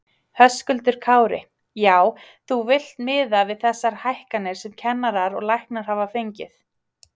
Höskuldur Kári: Já, þú villt miða við þessa hækkanir sem kennarar og læknar hafa fengið?